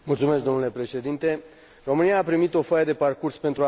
România a primit o foaie de parcurs pentru aderarea la spațiul Schengen.